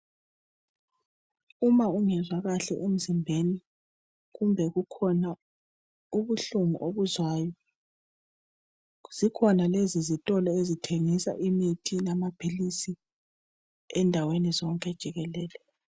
Uma ungezwa kahle emzimbeni kumbe kukhona ubuhlungu obuzwayo zikhona lezizitolo. ezithengisa imithi lamaphilisi indawana yonke jikelele.